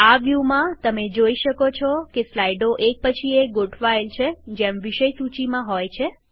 આ વ્યુમાંતમે જોઈ શકો છો કે સ્લાઈડો એક પછી એક ગોઠવાયેલ છેજેમ વિષય સૂચીમાં હોય છે